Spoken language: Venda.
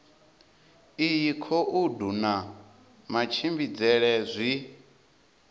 iyi khoudu na matshimbidzele zwi